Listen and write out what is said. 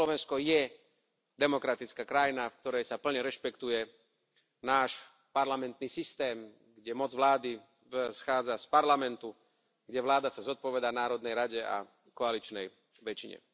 A Slovensko je demokratická krajina, v ktorej sa plne rešpektuje náš parlamentný systém, kde moc vlády schádza z parlamentu, kde vláda sa zodpovedá Národnej rade a koaličnej väčšine.